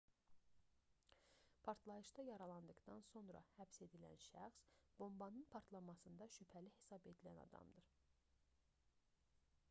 partlayışda yaralandıqdan sonra həbs edilən şəxs bombanın partlamasında şübhəli hesab edilən adamdır